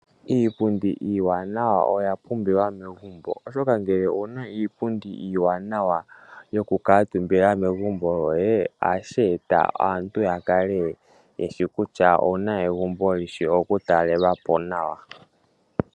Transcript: Iipundi iiwanawa oya pumbiwa megumbo, oshoka ngele owuna iipundi iiwanawa yoku kaatumbila megumbo lyoye ohashi eta aantu ya kale yeshi kutya owuna egumbo lyishi oku talelwa po nawa.